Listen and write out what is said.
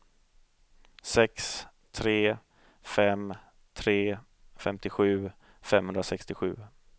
sex tre fem tre femtiosju femhundrasextiosju